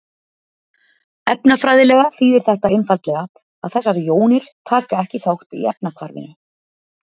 efnafræðilega þýðir þetta einfaldlega að þessar jónir taka ekki þátt í efnahvarfinu